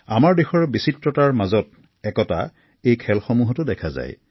আমাৰ দেশৰ অনন্য বিচিত্ৰতা এই খেলসমূহতো দেখা যায়